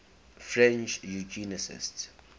french eugenicists